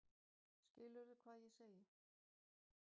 Skilurðu hvað ég segi?